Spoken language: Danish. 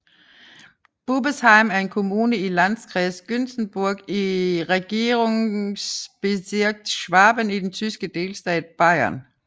Bubesheim er en kommune i Landkreis Günzburg i Regierungsbezirk Schwaben i den tyske delstat Bayern